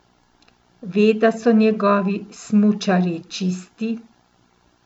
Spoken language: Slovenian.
Ve, da so njegovi smučarji čisti!